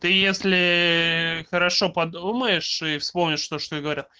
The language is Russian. ты если хорошо подумаешь и вспомнишь то что говорят